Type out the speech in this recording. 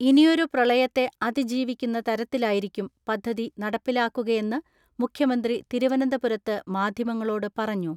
ഇനിയൊരു പ്രളയത്തെ അതിജീവിക്കുന്ന തരത്തിലായിരിക്കും പദ്ധതി നടപ്പിലാക്കുകയെന്ന് മുഖ്യമന്ത്രി തിരുവനന്തപുരത്ത് മാധ്യമങ്ങളോട് പറഞ്ഞു.